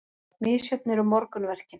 Misjöfn eru morgunverkin.